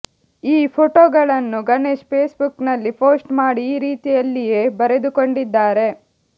ಈ ಫೋಟೋಗಳನ್ನು ಗಣೇಶ್ ಫೇಸ್ಬುಕ್ ನಲ್ಲಿ ಪೋಸ್ಟ್ ಮಾಡಿ ಈ ರೀತಿಯಲ್ಲಿಯೇ ಬರೆದುಕೊಂಡಿದ್ದಾರೆ